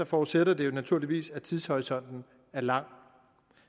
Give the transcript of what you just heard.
forudsætter det jo naturligvis at tidshorisonten er lang